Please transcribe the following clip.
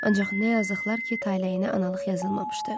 Ancaq nə yazıqlar ki, taleyinə analıq yazılmamışdı.